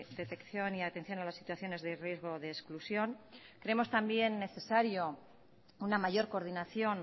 detección y atención a las situaciones de riesgo de exclusión creemos también necesario una mayor coordinación